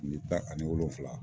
Kile tan ani wolonfila.